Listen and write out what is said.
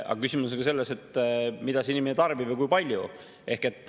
Aga küsimus on selles, mida inimene tarbib ja kui palju.